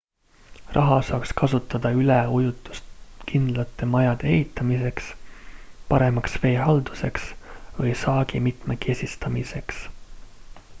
raha saaks kasutada üleujutuskindlate majade ehitamiseks paremaks veehalduseks ja saagi mitmekesistamiseks